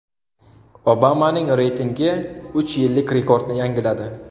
Obamaning reytingi uch yillik rekordni yangiladi.